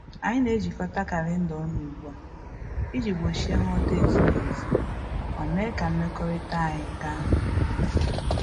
Anyị na-ejikota kalenda ọnụ ugbu a iji gbochie nghọta-ezighi ezi ma mee ka mmekọrịta anyị ka mma